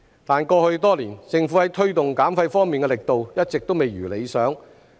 但過去多年，政府在推動減廢方面的力度一直未如理想。